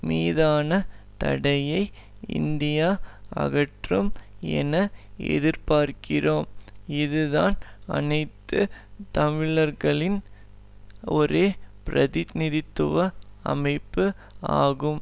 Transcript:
மீதான தடையை இந்தியா அகற்றும் என எதிர்பார்க்கிறோம் இதுதான் அனைத்து தமிழர்களின் ஒரே பிரதிநிதித்துவ அமைப்பு ஆகும்